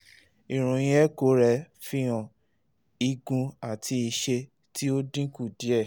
iroyin echo rẹ n fihan igun ati iṣẹ ti o dinku diẹ